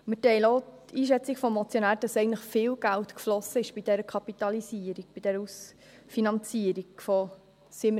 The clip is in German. Wir teilen auch die Einschätzung des Motionärs, dass eigentlich bei dieser Kapitalisierung, bei dieser Ausfinanzierung viel Geld geflossen ist.